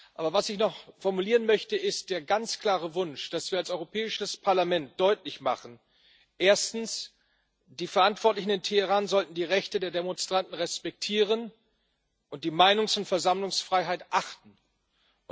Aber was ich noch formulieren möchte, ist der ganz klare Wunsch, dass wir als Europäisches Parlament deutlich machen, dass erstens die Verantwortlichen in Teheran die Rechte der Demonstranten respektieren und die Meinungs und Versammlungsfreiheit achten sollten.